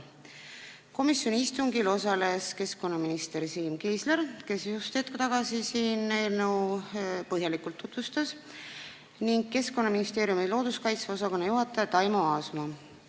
Komisjoni istungil osalesid ka keskkonnaminister Siim Kiisler, kes hetk tagasi siin eelnõu põhjalikult tutvustas, ning Keskkonnaministeeriumi looduskaitse osakonna juhataja Taimo Aasma.